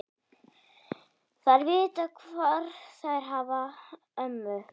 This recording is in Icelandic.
Þær vita hvar þær hafa ömmu.